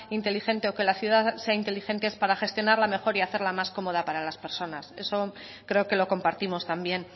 inteligente o que la ciudad sea inteligente es para gestionarla mejor y hacerla más cómoda para las personas eso creo que lo compartimos también